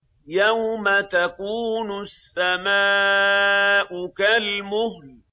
يَوْمَ تَكُونُ السَّمَاءُ كَالْمُهْلِ